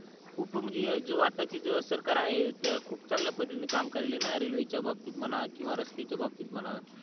खूप म्हणजे जो आता ची जे सरकार आहे ते खूप चांगल्या पद्धतीन काम करायली न रेलवे च्या बाबतीत म्हणा किवा रस्त्याच्या बाबतीत म्हणा